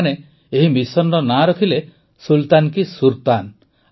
ସେମାନେ ଏହି ମିସନର ନାମ ରଖିଲେ ସୁଲତାନ କୀ ସୁର୍ତାନ